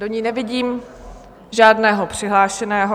Do ní nevidím žádného přihlášeného.